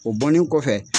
O bɔlen kɔfɛ